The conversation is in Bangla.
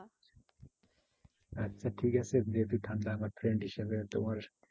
আচ্ছা ঠিক আছে যেহেতু ঠান্ডা আমার friend হিসাবে তোমার